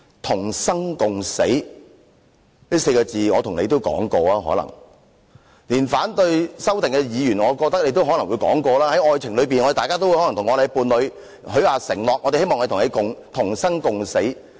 "同生共死"這4個字，大家可能也說過，連反對修正案的議員也可能說過，在愛情裏，大家可能會向伴侶許下承諾，希望可以與伴侶同生共死。